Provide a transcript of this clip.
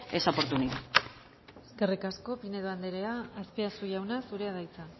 esa oportunidad eskerrik asko pinedo andrea azpiazu jauna zurea da hitza